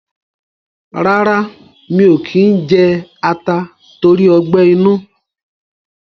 rárá, mi ò kí ń jẹ ata tóri ọgbẹ́-inú.